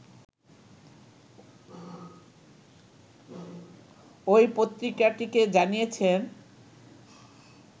ওই পত্রিকাটিকে জানিয়েছেন